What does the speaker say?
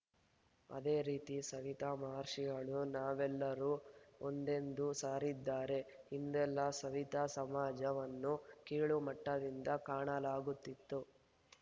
ಅದೇ ರೀತಿ ಸವಿತಾ ಮಹರ್ಷಿಗಳು ನಾವೆಲ್ಲರೂ ಒಂದೆಂದು ಸಾರಿದ್ದಾರೆ ಹಿಂದೆಲ್ಲಾ ಸವಿತಾ ಸಮಾಜವನ್ನು ಕೀಳು ಮಟ್ಟದಿಂದ ಕಾಣಲಾಗುತ್ತಿತ್ತು